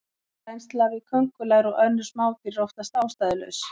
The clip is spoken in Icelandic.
Hræðsla við köngulær og önnur smádýr er oftast ástæðulaus.